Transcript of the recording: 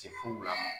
Se furu la